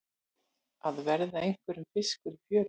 Að verða einhverjum fiskur í fjöru